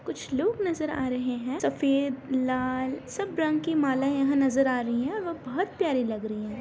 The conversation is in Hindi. कुछ लोग नज़र आ रहे हैं सफेद लाल सब रंग की माला यहाँ नज़र आ रही हैं और वो बहुत प्यारी लग रहीं है।